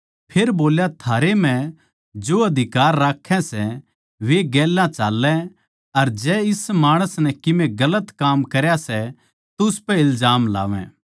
फेर बोल्या थारै म्ह जो अधिकार राक्खै सै वे गेल चाल्लै अर जै इस माणस नै कीमे गलत काम करया सै तो उसपै इल्जाम लावै